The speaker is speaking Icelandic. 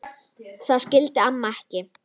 Það skildi amma ekki.